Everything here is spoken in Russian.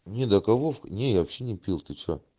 не до кого не я вообще не пил ты чего